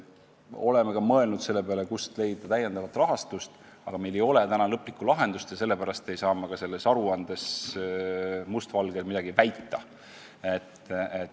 Oleme ka mõelnud selle peale, kust leida täiendavat rahastust, aga meil ei ole lõplikku lahendust ja sellepärast ei saa ka mulluses aruandes must valgel midagi väita.